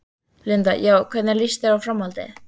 Linda: Já, hvernig lýst þér á framhaldið?